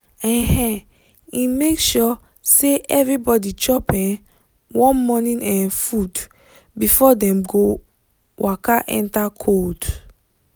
um e make sure say everybody chop um warm morning um food before dem go waka enter cold.